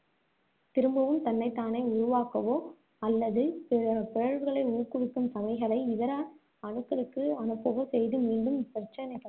திரும்பவும் தன்னைத்தானே உருவாக்கவோ, அல்லது பிழற்~ பிழற்வுகளை ஊக்குவிக்கும் இதர அணுக்களுக்கு அனுப்பவோ செய்து, மீண்டும் இப்பிரச்சினைகளை